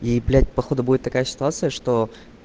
и блять походу будет такая ситуация что